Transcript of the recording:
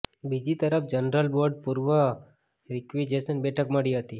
બીજી તરફ general board પૂર્વે રીક્વીજેસન બેઠક મળી હતી